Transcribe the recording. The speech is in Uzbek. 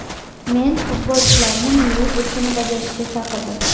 Men futbolchilarni milliy burchini bajarishga chaqirdim.